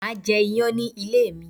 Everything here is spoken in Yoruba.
Máà jẹ iyán ní ilé mi